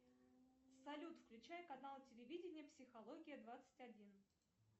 салют включай канал телевидения психология двадцать один